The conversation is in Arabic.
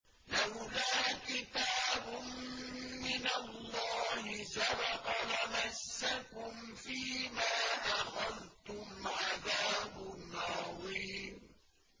لَّوْلَا كِتَابٌ مِّنَ اللَّهِ سَبَقَ لَمَسَّكُمْ فِيمَا أَخَذْتُمْ عَذَابٌ عَظِيمٌ